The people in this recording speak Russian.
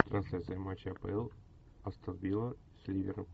трансляция матча апл астон вилла с ливером